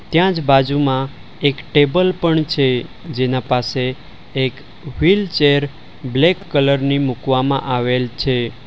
ત્યાં જ બાજુમાં એક ટેબલ પણ છે જેના પાસે એક વ્હીલચેર બ્લેક કલર ની મૂકવામાં આવેલ છે.